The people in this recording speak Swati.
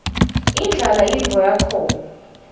indlala yintfo yakhona